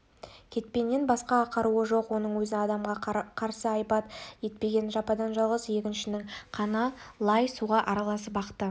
кетпеннен басқа қаруы жоқ оның өзін адамға қарсы айбат етпеген жападан-жалғыз егіншінің қаны лай суға араласып ақты